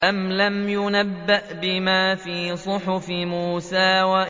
أَمْ لَمْ يُنَبَّأْ بِمَا فِي صُحُفِ مُوسَىٰ